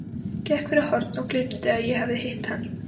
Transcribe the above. Gekk fyrir horn og gleymdi að ég hafði hitt hann.